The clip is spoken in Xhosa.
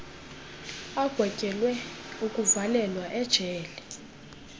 agwetyelwe ukuvalelwa ejele